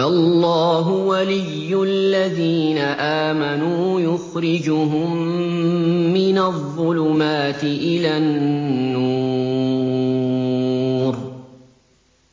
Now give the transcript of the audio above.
اللَّهُ وَلِيُّ الَّذِينَ آمَنُوا يُخْرِجُهُم مِّنَ الظُّلُمَاتِ إِلَى النُّورِ ۖ